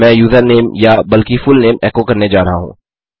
मैं यूज़रनेम या बल्कि फुलनेम एको करने जा रहा हूँ